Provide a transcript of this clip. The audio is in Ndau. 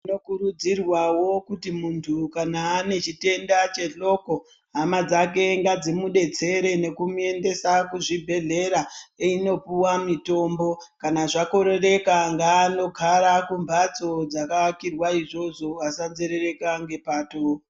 Tinokurudzirwawo kuti muntu kana anechitenda chehloko hama dzake ngadzimudetsere nekumuendesa kuzvibhedhlera einopuwa mitombo kana zvakorereka ngaanogara kumbatso dzakaakirwa izvozvo asanzerereka ngepato.